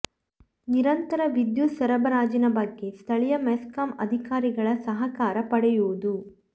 ನಿರಂತರ ವಿದ್ಯುತ್ ಸರಬರಾಜಿನ ಬಗ್ಗೆ ಸ್ಥಳೀಯ ಮೆಸ್ಕಾಂ ಅಧಿಕಾರಿಗಳ ಸಹಕಾರ ಪಡೆಯುವುದು